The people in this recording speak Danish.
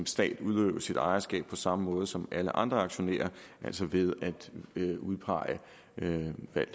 staten udøve sit ejerskab på samme måde som alle andre aktionærer altså ved at udpege